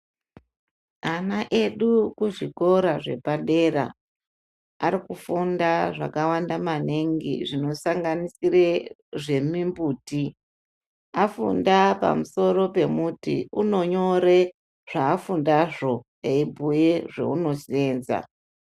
Ana edu kuzvikora zvepadera arikufunda zvakawanda maningi zvinosanganisire zvemimbuti ,afunda pamusoro pemuti unonyore zvaafundazvo eimbuye zvaunoseenza.